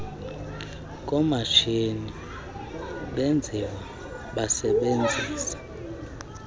komatshini benziwa basebenzisa